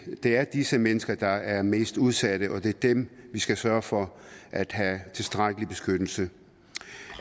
det er disse mennesker der er mest udsatte og det er dem vi skal sørge for at have tilstrækkelig beskyttelse